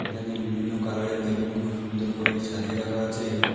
এখানে বিভিন্ন কালারের বেলুন খুব সুন্দর করে সাজিয়ে রাখা আছে।